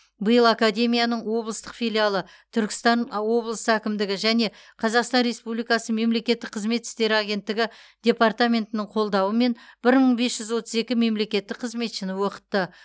биыл академияның облыстық филиалы түркістан облыс әкімдігі және қазақстан республикасы мемлекеттік қызмет істері агенттігі департаментінің қолдауымен бір мың бес жүз отыз екі мемлекеттік қызметшіні оқытты